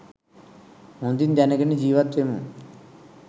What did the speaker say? හොඳින් දැනගෙන ජීවත් වෙමු.